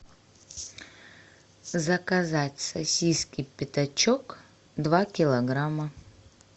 заказать сосиски пятачок два килограмма